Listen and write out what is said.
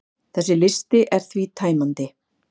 Þessi listi er því tæmandi.